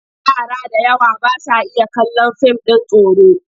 Yara da yawa ba sa iya kallon fim ɗin tsoro.